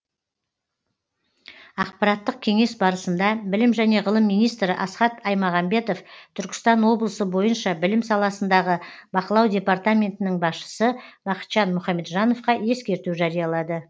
аппараттық кеңес барысында білім және ғылым министрі асхат аймағамбетов түркістан облысы бойынша білім саласындағы бақылау департаментінің басшысы бақытжан мұхамеджановқа ескерту жариялады